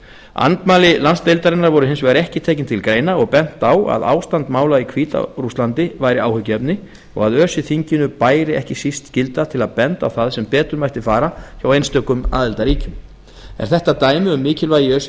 andmæli landsdeildarinnar voru hins vegar ekki tekin til greina og bent á að ástand mála í hvíta rússlandi væri áhyggjuefni og að öse þinginu bæri ekki síst skylda til að benda á það sem betur mætti fara hjá einstökum aðildarríkjum er þetta dæmi um mikilvægi öse